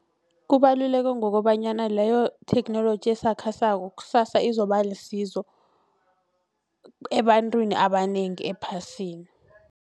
Kubaluleke ngokobanyana leyo theknoloji esakhasako kusasa izoba lisizo ebantwini abanengi ephasini.